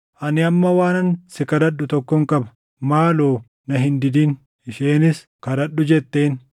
Ani amma waanan si kadhadhu tokkon qaba; maaloo na hin didin.” Isheenis, “Kadhadhu” jetteen.